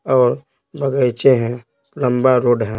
और बगैचे हैं लंबा रोड है।